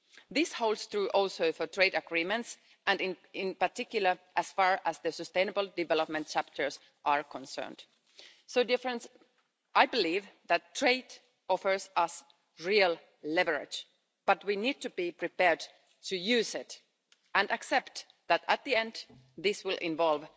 This holds true also for trade agreements and in particular as far as the sustainable development chapters are concerned. I believe that trade offers us real leverage, but we need to be prepared to use it and accept that, at the end, this will also involve